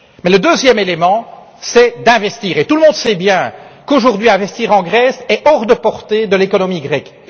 Le deuxième élément, c'est l'investissement. Tout le monde sait bien qu'aujourd'hui investir en Grèce est hors de portée de l'économie grecque.